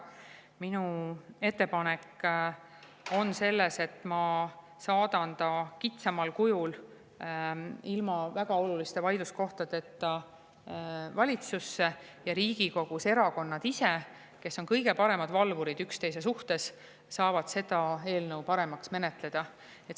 Minu ettepanek on, et ma saadan ta kitsamal kujul ilma väga oluliste vaidluskohtadeta valitsusse ja Riigikogus erakonnad ise, kes on kõige paremad üksteise valvurid, saavad seda eelnõu paremaks menetleda.